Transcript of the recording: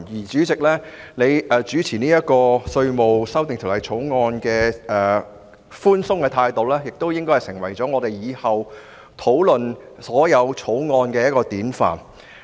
主席處理《2019年稅務條例草案》辯論時的寬鬆態度，亦會成為日後我們討論各項法案時的典範。